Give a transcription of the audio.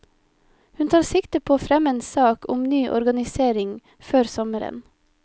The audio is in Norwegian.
Hun tar sikte på å fremme en sak om ny organisering før sommeren.